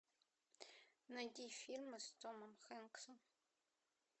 найти фильмы с томом хэнксом